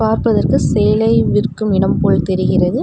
பார்ப்பதற்கு சேலை விற்கும் இடம் போல் தெரிகிறது.